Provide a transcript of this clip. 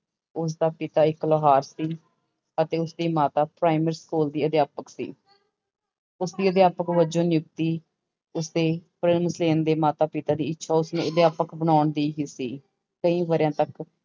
ਉਸਦਾ ਪਿਤਾ ਇੱਕ ਲੋਹਾਰ ਸੀ ਅਤੇ ਉਸਦੀ ਮਾਤਾ ਪ੍ਰਾਇਮਰੀ ਸਕੂਲ ਦੀ ਅਧਿਆਪਕ ਸੀ ਉਸਦੀ ਅਧਿਆਪਕ ਵਜੋਂ ਨਿਯੁਕਤੀ ਉਸਦੇ ਮਾਤਾ ਪਿਤਾ ਦੀ ਇੱਛਾ ਉਸਨੂੰ ਅਧਿਆਪਕ ਬਣਾਉਣ ਦੀ ਹੀ ਸੀ, ਕਈ ਵਰ੍ਹਿਆਂ ਤੱਕ